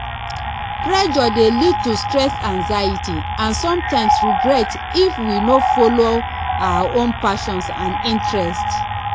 pressure dey lead to stress anxiety and sometimes regret if we no follow our own passions and interests